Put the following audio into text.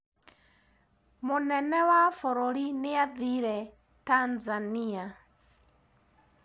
Mũnene wa bũrũri nĩathire Tanzania.